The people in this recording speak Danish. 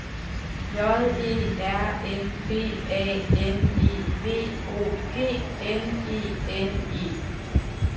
J E R N B A N E V O G N E N E